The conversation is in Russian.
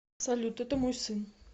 салют это мой сын